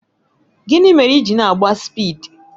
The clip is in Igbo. Gịnị mere i ji na-agba spịdi?